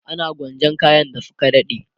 ana gwanjan kayan da Suka dade